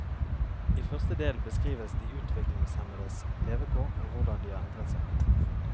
I første del beskrives de utviklingshemmedes levekår og hvordan de har endret seg.